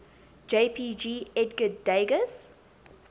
jpg edgar degas